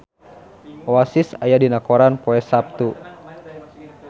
Oasis aya dina koran poe Saptu